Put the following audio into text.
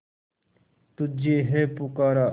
तुझे है पुकारा